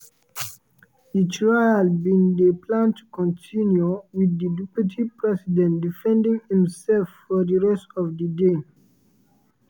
di trial bin dey planned to continue wit di deputy president defending imsef for di rest of di day.